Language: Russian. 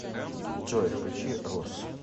джой включи рус